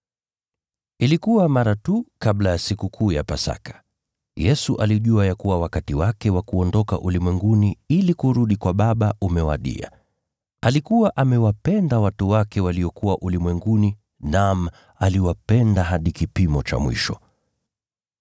Ilikuwa mara tu kabla ya Sikukuu ya Pasaka. Yesu alijua ya kuwa wakati wake wa kuondoka ulimwenguni ili kurudi kwa Baba umewadia. Alikuwa amewapenda watu wake waliokuwa ulimwenguni, naam, aliwapenda hadi kipimo cha mwisho.